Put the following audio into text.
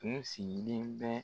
Kun sigilen bɛ